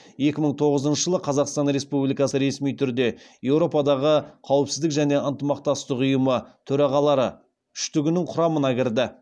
екі мың тоғызыншы жылы қазақстан республикасы ресми түрде еуропадағы қауіпсіздік және ынтымақтастық ұйымы төрағалары үштігінің құрамына кірді